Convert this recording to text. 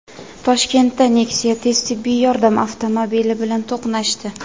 Toshkentda Nexia tez tibbiy yordam avtomobili bilan to‘qnashdi.